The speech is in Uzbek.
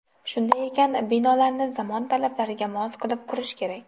Shunday ekan, binolarni zamon talablariga mos qilib qurish kerak.